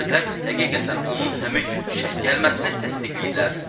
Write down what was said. Şahidlər həqiqətən onun həmin gün işə gəlməsini təsdiqləyiblər.